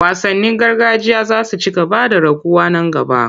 Wasannin gargajiya za su ci gaba da raguwa nan gaba.